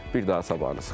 Bir daha sabahınız xeyir.